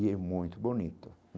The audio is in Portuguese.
E é muito bonito.